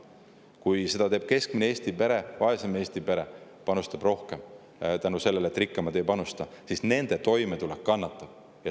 Kui seda teeb keskmine või vaesem Eesti pere, kui nemad panustavad rohkem, sest rikkamad ei panusta, siis nende toimetulek kannatab.